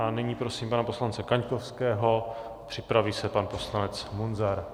A nyní prosím pana poslance Kaňkovského, připraví se pan poslanec Munzar.